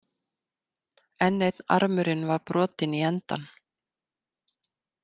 En einn armurinn var brotinn í endann.